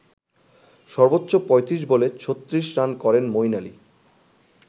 সর্বোচ্চ ৩৫ বলে ৩৬ রান করেন মইন আলি।